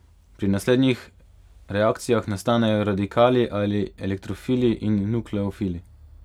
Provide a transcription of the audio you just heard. Pri naslednjih reakcijah nastanejo radikali ali elektrofili in nukleofili.